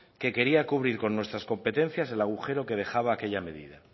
que quería cubrir con nuestras competencias el agujero que dejaba aquella medida